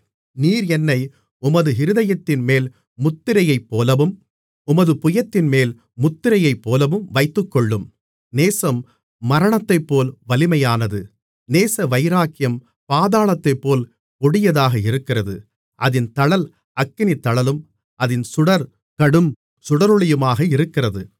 நீர் என்னை உமது இருதயத்தின்மேல் முத்திரையைப்போலவும் உமது புயத்தின்மேல் முத்திரையைப்போலவும் வைத்துக்கொள்ளும் நேசம் மரணத்தைப்போல் வலிமையானது நேசவைராக்கியம் பாதாளத்தைப்போல் கொடியதாக இருக்கிறது அதின் தழல் அக்கினித்தழலும் அதின் சுடர் கடும் சுடரொளியுமாக இருக்கிறது